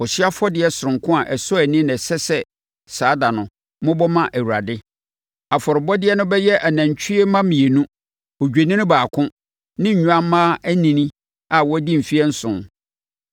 Ɔhyeɛ afɔdeɛ sononko a ɛsɔ ani na ɛsɛ sɛ saa ɛda no, mobɔ ma Awurade. Afɔrebɔdeɛ no bɛyɛ anantwie mma mmienu, odwennini baako ne nnwammaa anini a wɔadi mfeɛ nson.